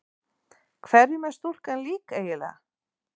Hverjum er stúlkan eiginlega lík?